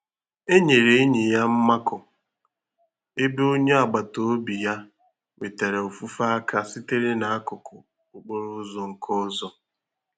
Enyere enyi ya mmakọ, ebe onye agbata obi ya nwetara ofufe aka sitere n'akụkụ okporo ụzọ nke ọzọ.